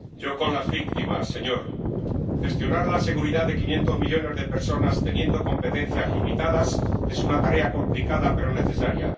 Señor Presidente. Yo, con las víctimas, señor. Gestionar la seguridad de 500 millones de personas teniendo competencias limitadas es una tarea complicada pero necesaria.